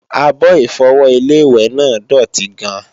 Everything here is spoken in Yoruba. Àbo-Ìfọwọ́ Ilé-ìwẹ̀ náà dòtí gan-an